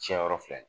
Tiɲɛyɔrɔ filɛ